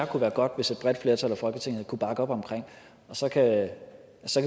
kunne være godt hvis et bredt flertal i folketinget kunne bakke op om og så kan